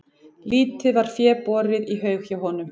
Lítið var fé borið í haug hjá honum.